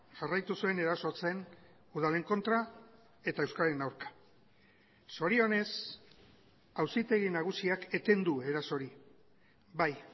jarraitu zuen erasotzen udalen kontra eta euskararen aurka zorionez auzitegi nagusiak eten du eraso hori bai